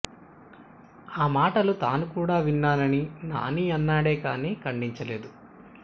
ఆ మాటలు తాను కూడా విన్నానని నాని అన్నాడే కానీ ఖండించలేదు